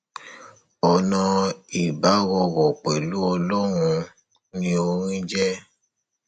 ọnà ìbárọrọ pẹlú ọlọrun ni orin jẹ